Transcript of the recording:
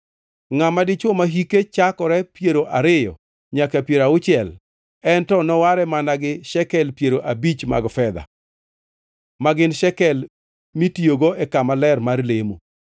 Ngʼama dichwo ma hike chakore piero ariyo nyaka piero auchiel, en to noware mana gi shekel piero abich mag fedha, ma gin shekel mitiyogo e kama ler mar lemo.